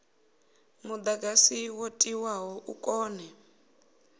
mudagasi wo tiwaho u kone